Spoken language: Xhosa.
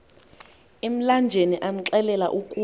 emlanjeni amxelela ukuba